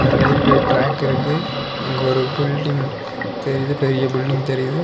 Railway track இருக்கு. அங்க ஒரு பில்டிங் தெரியுது. பெரிய பில்டிங் தெரியுது.